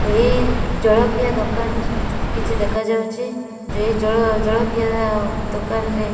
ଏହି ଜଳଖିଆ ଦୋକାନ କିଛି ଦେଖାଯାଉଚି। ଯେଇ ଜଳ ଜଳଖିଆ ଦୋକାନରେ --